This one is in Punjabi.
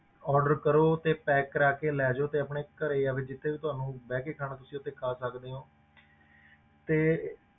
Order ਕਰੋ ਤੇ pack ਕਰਵਾ ਕੇ ਲੈ ਜਾਓ ਤੇ ਆਪਣੇ ਘਰੇ ਜਾਂ ਫਿਰ ਜਿੱਥੇ ਵੀ ਤੁਹਾਨੂੰ ਬਹਿ ਕੇ ਖਾਣਾ ਤੁਸੀਂ ਉੱਥੇ ਖਾ ਸਕਦੇ ਹੋ ਤੇ